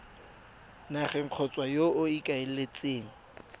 nageng kgotsa yo o ikaeletseng